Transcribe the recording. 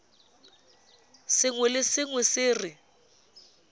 sengwe le sengwe se re